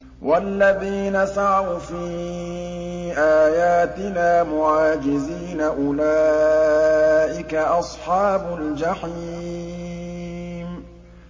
وَالَّذِينَ سَعَوْا فِي آيَاتِنَا مُعَاجِزِينَ أُولَٰئِكَ أَصْحَابُ الْجَحِيمِ